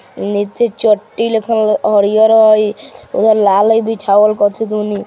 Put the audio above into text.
नीचे चोट्टी लिखल हरियर हेय उधर लाल हेय बिछावल कथी दनी।